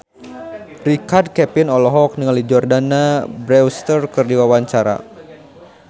Richard Kevin olohok ningali Jordana Brewster keur diwawancara